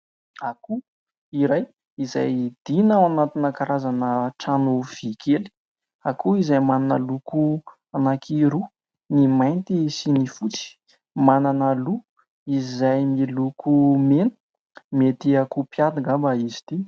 Akoho iray izay idina ao anatina karazana trano vy kely. Akoho izay manana loko anankiroa : ny mainty sy ny fotsy. Manana loha izay miloko mena. Mety ho akoho mpiady angamba izy ity.